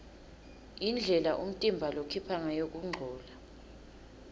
indlela umtimba lokhipha ngayo kungcola